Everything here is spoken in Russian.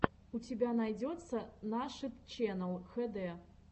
у тебя найдется нашид ченнал хд